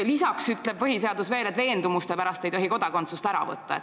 Lisaks ütleb põhiseadus veel, et veendumuste pärast ei tohi kodakondsust ära võtta.